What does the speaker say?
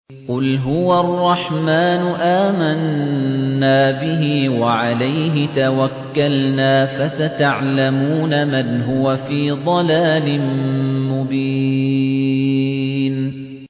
قُلْ هُوَ الرَّحْمَٰنُ آمَنَّا بِهِ وَعَلَيْهِ تَوَكَّلْنَا ۖ فَسَتَعْلَمُونَ مَنْ هُوَ فِي ضَلَالٍ مُّبِينٍ